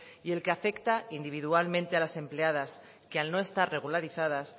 y el que afecta individualmente a las empleadas que al no estar regularizadas